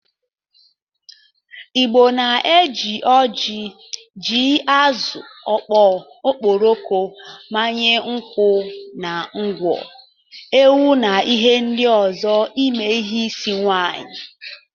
Igbo na-eji oji, ji, azụ ọkpọ, okporoko, mmanya nkwụ na ngwọ, ewu na ihe ndị ọzọ eme ihe isi nwaanyị.